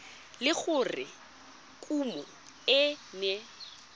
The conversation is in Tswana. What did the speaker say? le gore kumo e ne